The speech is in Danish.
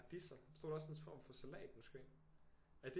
Radisser så stod der også en form for salat måske er det